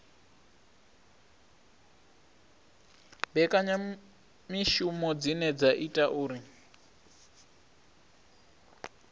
mbekanyamishumo dzine dza ita uri